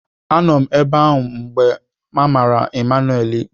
Anọ m ebe ahụ mgbe a mara Emmanuel ikpe.